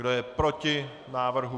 Kdo je proti návrhu?